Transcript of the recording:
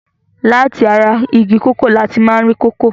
Láti ara igi kòkó ní a ti máa ń rí kòkó.